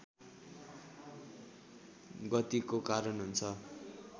गतिको कारण हुन्छ